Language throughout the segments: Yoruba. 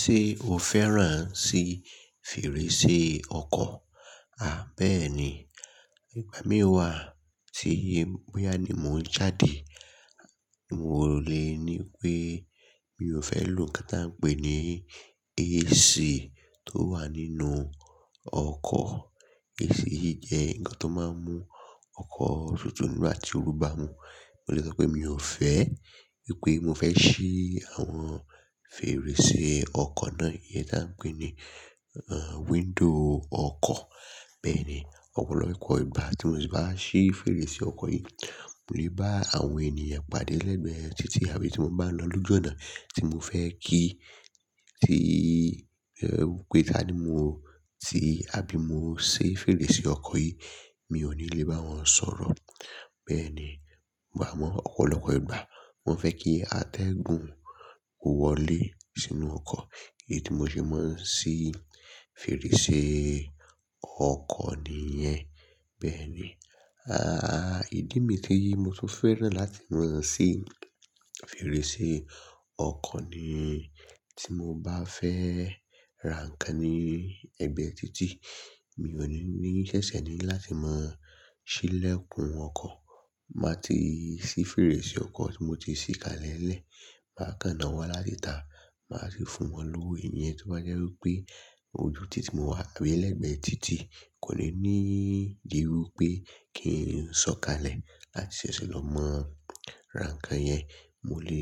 Ṣé o fẹ́ràn sí fèrèsé ọkọ̀? À bẹ́ẹ̀ni, ìgbà mi o wa tí bóyá ni mò ń jáde, mo lè ní pé mi ò fẹ́ lò kan tó ń pè ní AC tó wà nínú ọkọ̀. AC yì jẹ́ ǹkan tó máa ń mú ọkọ̀ tutù nígbà tí o rú bá mu. Mo lè sọ pé mi ò fẹ́, wípé mo fẹ́ ṣí àwọn fèrèsé ọkọ̀ náà, iyen tí à ń pè ní, ẹ, window ọkọ̀. Bẹ́ẹ̀ni, ọ̀pọ̀lọpọ̀ ìgbà tí mo sì bá ṣí fèrèsé ọkọ̀ yì mo lè bá àwọn ènìyàn pàdé lẹ́gbẹ̀ títí àbí tí mo bá ń lọ lójú ọ̀nà tí mo fẹ́ kí, tí, ẹ, wípé ta mo ti, àbí mo ṣí fèrèsé ọkọ̀ yì, mi ò ní lè bá wọn sọ̀rọ̀. Bẹ́ẹ̀ni, bà mọ̀ ọ̀pọ̀lọpọ̀ ìgbà mo fẹ́ kí atẹ́gùn ó wọlé sínú ọkọ̀, èyí tí mo ṣe máa ń ṣí fèrèsé ọkọ̀ nìyẹn. Bẹ́ẹ̀ni, a, ìdí mi tí mo tún fẹ́ràn láti máa ṣí fèrèsé ọkọ̀ ni tí mo bá fẹ́ ra ǹkan ní egbe títí, mi ò ní ní ṣẹ̀ṣẹ̀ ni láti máa ṣí ilẹ̀kùn ọkọ̀. Màá ti ṣí fèrèsé ọkọ̀ tí mo ti ṣí kalẹ̀ lẹ̀, maa kan náwo láti tà, màá sì fún wọn lówó. Iyen to ba jẹ́ wípé ojú títí mo wá, àbí lẹ́gbẹ̀ títí kò le ní di irú pé kí ń sọ̀kalẹ̀ láti ṣẹ̀ṣẹ̀ lọ mọ ra ǹkan yẹn. Mo lè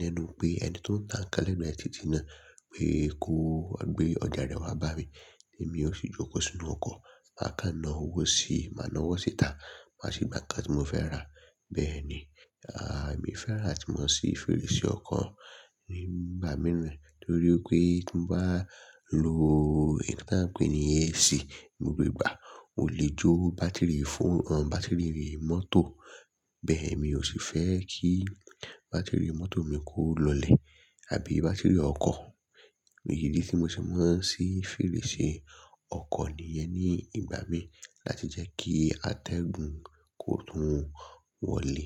lẹ́nu pé ẹni tó ń tà ǹkan lẹ́nu legbe títí náà pé kó gbé ọjà rẹ̀ wá bá mi, èmi ó sì jókò sínú ọkọ̀. Maa kan náà wọ́ sí máa náà wọ́ síta, màá sì gba ǹkan tí mo fẹ́ rà. Bẹ́ẹ̀ni, a, èmi fẹ́ràn ati mo sì fèrèsé ọkọ̀ nígbà míràn torí pé tí mo bá lo nkan tí à ń pè ní AC gbogbo ìgbà, ó lè jó bátìrì phone, bátìrì mọ́tò. Bẹ́ẹ̀ mi ò sì fẹ́ kí bátìrì mọ́tò mi kó lọlẹ̀ àbí bátìrì ọkọ̀. Èyí ni tí mo ṣe máa ń ṣí fèrèsé ọkọ̀ nìyẹn ní ìgbà mí láti jẹ́ kí atẹ́gùn kó tún wọlé.